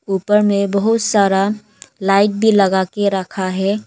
ऊपर में बहुत सारा लाइट भी लगा के रखा है।